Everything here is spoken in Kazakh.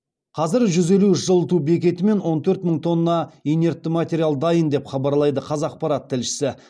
қазір жүз елу үш жылыту бекеті мен он төрт мың тонна инертті материал дайын деп хабарлайды қазақпарат тілшісі